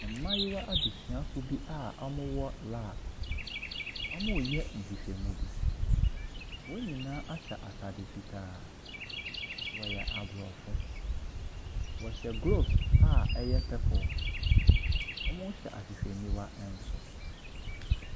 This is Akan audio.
Mmaayewa adesuafoɔ bi a wɔwɔ lab. Wɔreyɛ nhwehwɛmu bo. Wɔn nyinaa ahyɛ atade fitaa. Wɔyɛ Aborɔfo. Wɔhye gloves a ɛyɛ purple. Wɔhyɛ ahwehwniwa nso.